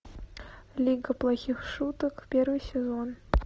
лига плохих шуток первый сезон